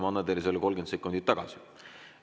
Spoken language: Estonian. Ma annan teile need 30 sekundit tagasi.